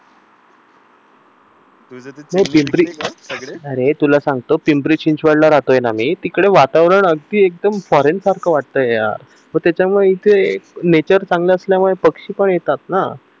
अरे तुला सांगतो पिंपरी-चिंचवड ला राहतोय ना मी तिकडे वातावरण अगदी फॉरेन सारखं वाटतंय यार मग त्याच्यामुळे येथे नेचर चांगल असल्यामुळे पक्षी पण येतात ना